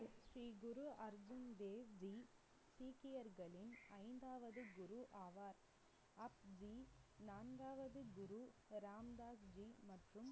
ஸ்ரீ குரு அர்ஜன் தேவ்ஜி சீக்கியர்களின் ஐந்தாவது குரு ஆவார். ஆஃப்ஜி நான்காவது குரு ராம்தாஸ் ஜி மற்றும்